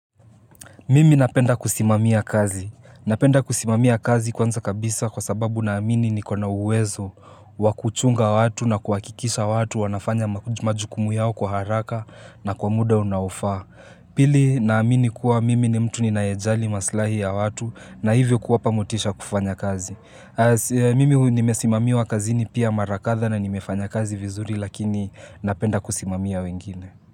Mimi napenda kusimamia kazi. Napenda kusimamia kazi kwanza kabisa kwa sababu naamini nikona uwezo wakuchunga watu na kuhakikisha watu wanafanya majukumu yao kwa haraka na kwa muda unaofaa. Pili, naamini kuwa mimi ni mtu ninayejali maslahi ya watu na hivyo kuwapa motisha kufanya kazi. Mimi nimesimamiwa kazi ni pia mara kadhaa na nimefanya kazi vizuri lakini napenda kusimamia wengine.